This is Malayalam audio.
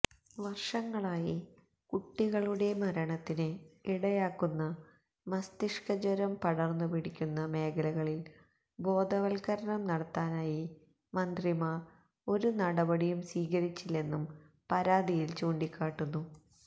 വര്ഷങ്ങളായി കുട്ടികളുടെ മരണത്തിന് ഇടയാക്കുന്ന മസ്തിഷ്കജ്വരം പടര്ന്നുപിടിക്കുന്ന മേഖലകളില് ബോധവത്കരണം നടത്താനായി മന്ത്രിമാര് ഒരു നടപടിയും സ്വീകരിച്ചില്ലെന്നും പരാതിയില് ചൂണ്ടിക്കാട്ടുന്നു